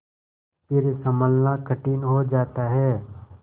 फिर सँभलना कठिन हो जाता है